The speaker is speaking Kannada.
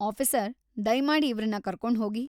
ಆಫೀಸರ್, ದಯ್ಮಾಡಿ ಇವ್ರನ್ನ ಕರ್ಕೊಂಡ್ ಹೋಗಿ.